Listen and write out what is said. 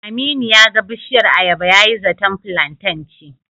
Aminu ya ga bishiyar ayaba yayi zaton filanten ce.